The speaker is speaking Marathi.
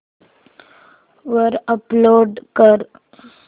वर अपलोड कर